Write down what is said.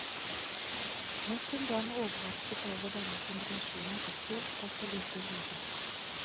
Nok en gang overrasket over denne kombinasjonen av stor kropp og lite hode.